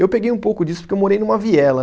Eu peguei um pouco disso porque eu morei numa viela.